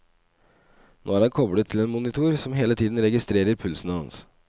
Nå er han koblet til en monitor som hele tiden registrerer pulsen hans.